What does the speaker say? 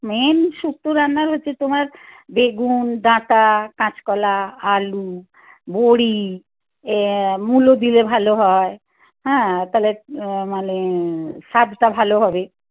main শুক্তো রান্নার হচ্ছে তোমার বেগুন, ডাঁটা, কাঁচকলা, আলু, বড়ি এ মুলো দিলে ভালো হয় হ্যাঁ তাহলে মানে স্বাদটা ভালো হবে